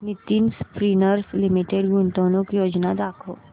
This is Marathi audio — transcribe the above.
नितिन स्पिनर्स लिमिटेड गुंतवणूक योजना दाखव